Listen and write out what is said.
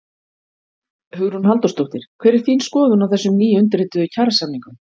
Hugrún Halldórsdóttir: Hver er þín skoðun á þessum nýundirrituðu kjarasamningum?